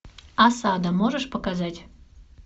осада можешь показать